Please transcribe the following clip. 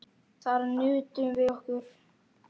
Þar nutum við okkar.